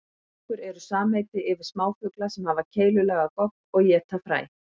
Finkur eru samheiti yfir smáfugla sem hafa keilulaga gogg og éta fræ.